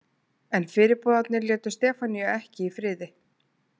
En fyrirboðarnir létu Stefaníu ekki í friði.